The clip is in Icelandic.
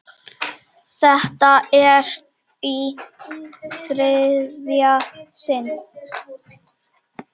Þetta er í þriðja sinn.